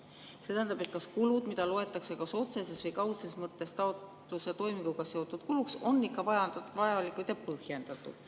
See tähendab, et kas kulud, mida loetakse kas otseses või kaudses mõttes taotluse toiminguga seotud kuluks, on ikka vajalikud ja põhjendatud.